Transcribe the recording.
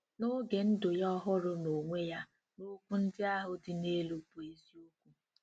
N'oge ndụ ya ọ hụrụ n'onwe ya na okwu ndị ahụ dị n'elu bụ eziokwu.